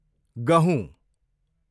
गहुँ